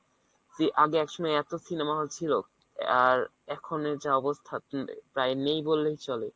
যে আগে একসময় এত cinema hall ছিল আর এখনের যা অবস্থা প্রায় নেই বললেই চলে